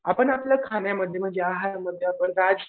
आपण आपल्या खाण्यामध्ये म्हणजे आहारमध्ये आपण राज